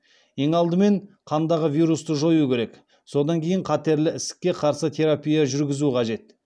ең алдымен қандағы вирусты жою керек содан кейін қатерлі ісікке қарсы терапия жүргізу қажет